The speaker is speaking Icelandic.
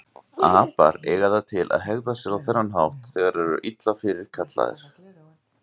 Apar eiga það til að hegða sér á þennan hátt þegar þeir eru illa fyrirkallaðir.